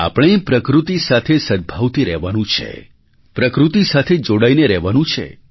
આપણે પ્રકૃતિ સાથે સદ્ભાવથી રહેવાનું છે પ્રકૃતિ સાથે જોડાઈને રહેવાનું છે